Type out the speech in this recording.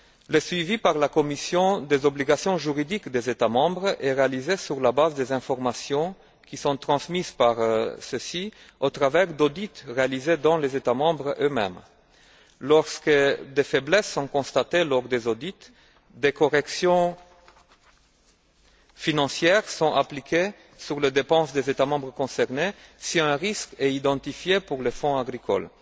Le suivi par la Commission des obligations juridiques des États membres est réalisé sur la base des informations qui sont transmises par ceux ci au travers d'audits réalisés dans les États membres eux mêmes. Lorsque des faiblesses sont constatées au cours des audits, des corrections financières sont appliquées aux dépenses des États membres concernés, si un risque est identifié pour le fonds agricole.